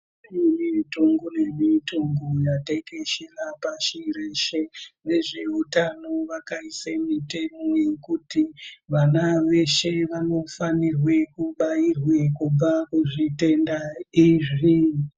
Mitongo nemitongo yatekeshera pashi reshe. Vezveutano vakaise mitemo yekuti vana veshe vanofanirwe kubairwe kubva kuzvitenda izvi.